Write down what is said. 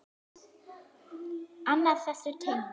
Annað þessu tengt.